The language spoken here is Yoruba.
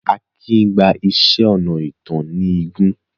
Akindele gba iṣẹ́ ọnà ìtàn ní igun.